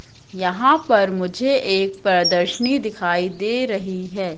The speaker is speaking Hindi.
यहां पर मुझे एक प्रदर्शनी दिखाई दे रही है।